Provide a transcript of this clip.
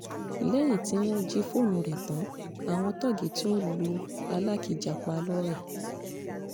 lẹ́yìn tí wọ́n jí fóònù rẹ̀ tán àwọn tóògì tún lu alákìjà pa lọ́rẹ́